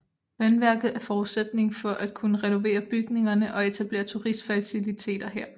Vandværket er forudsætningen for at kunne renovere bygningerne og etablere turistfaciliteter her